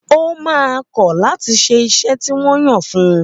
Ó máa kọ̀ láti ṣe iṣẹ́ tí wọ́n yàn fún un.